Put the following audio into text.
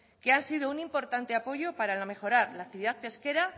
que han sido un importante apoyo para mejorar la actividad pesquera